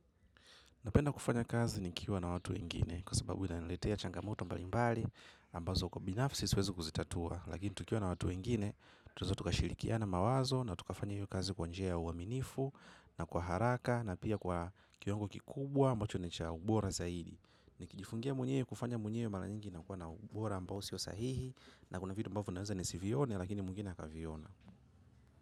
Napenda kufanya kazi nikiwa na watu wengine kwa sababu ina niletea changamoto mbali mbali ambazo kwa binafisi suwezi kuzitatua. Lakini tukiwa na watu wengine tuweza tukashilikia na mawazo na tukafanya yu kazi kwanjia uaminifu na kwa haraka na pia kwa kiwango kikubwa ambacho nicha ubora zaidi. Nikijifungia mwenye kufanya mwenye yu mara nyingi na kwa na ubora ambao siyo sahihi na kuna vidu mbavu naweza nisivione lakini mungina kaviona.